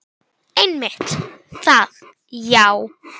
Bæta henni lífið.